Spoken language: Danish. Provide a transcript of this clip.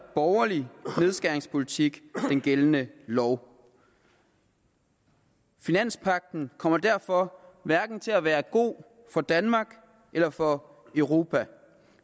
borgerlig nedskæringspolitik gældende lov finanspagten kommer derfor hverken til at være god for danmark eller for europa